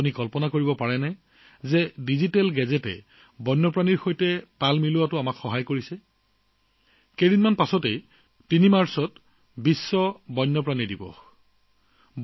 কিন্তু আপোনালোকে জানেনে যে ডিজিটেল গেজেটৰ সহায়ত আমি এতিয়া বন্যপ্ৰাণীৰ ভাৰসাম্য ৰক্ষা কৰিবলৈ সক্ষম হৈছো কিছুদিন পিছত ৩ মাৰ্চত বিশ্ব বন্যপ্ৰাণী দিৱস পালন কৰা হব